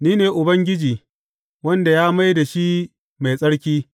Ni ne Ubangiji, wanda ya mai da shi mai tsarki.’